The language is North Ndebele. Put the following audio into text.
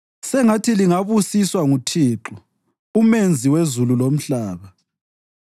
Sengathi lingabusiswa nguThixo uMenzi wezulu lomhlaba.